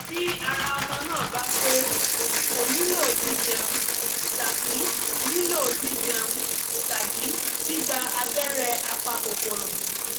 tí ara ọmọ náà bá pé kò nílò jíjẹun tàbí nílò jíjẹun tàbí gbígba abẹ́rẹ́ apakòkòrò